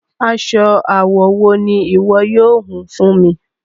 Aṣọ awọ wo ni iwọ yóò hún fún mi?